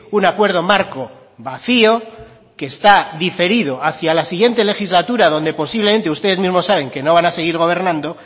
un acuerdo marco vacío que está diferido hacía la siguiente legislatura donde posiblemente ustedes mismos saben que no van a seguir gobernando